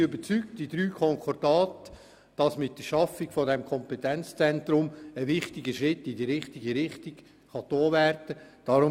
Die drei Konkordate sind überzeugt, dass mit der Schaffung dieses Kompetenzzentrums ein richtiger Schritt in die richtige Richtung gemacht werden kann.